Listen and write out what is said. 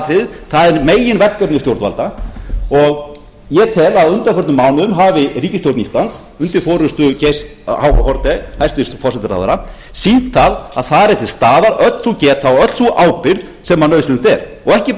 aðalatriðið það er meginverkefni stjórnvalda og ég tel að á undanförnum mánuðum hafi ríkisstjórn íslands undir forustu geirs h haarde hæstvirtur forsætisráðherra sýnt að þar er til staðar öll sú geta og öll sú ábyrgð sem anuðsynlegt er og ekki